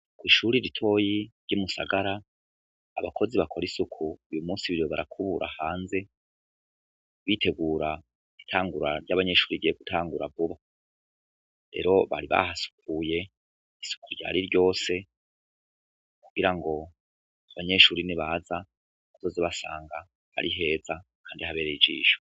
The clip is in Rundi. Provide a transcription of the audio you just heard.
Ishure ritoya ryimusagara, abakozi bakora isuku uyu munsi biriwe barakubura hanze bitegura itangura ryabanyeshure rigiye gutangura vuba, rero bari bahasukuye isuku ryari ryose kugirango abanyeshure nibaza bazoze basanga ari heza kandi habereye ijisho.